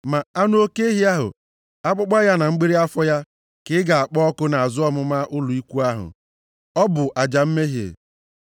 Ma anụ oke ehi ahụ, akpụkpọ ya na mgbịrị afọ ya, ka ị ga-akpọ ọkụ nʼazụ ọmụma ụlọ ikwu ahụ. Ọ bụ aja mmehie.